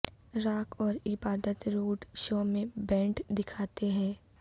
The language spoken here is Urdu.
راک اور عبادت روڈ شو میں بینڈ دکھاتے ہیں